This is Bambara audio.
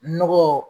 Nɔgɔ